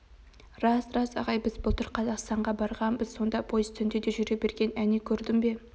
рас рас ағай біз былтыр қазақстанға барғанбыз сонда пойыз түнде де жүре берген әне көрдің бе